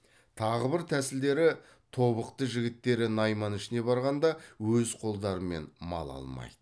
тағы бір тәсілдері тобықты жігіттері найман ішіне барғанда өз қолдарымен мал алмайды